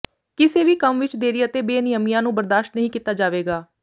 ਕਿਸੇ ਵੀ ਕੰਮ ਵਿੱਚ ਦੇਰੀ ਅਤੇ ਬੇਨਿਯਮੀਆਂ ਨੂੰ ਬਰਦਾਸ਼ਤ ਨਹੀਂ ਕੀਤਾ ਜਾਵੇਗਾ